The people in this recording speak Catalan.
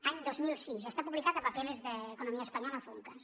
any dos mil sis està publicat a papeles de economía española funcas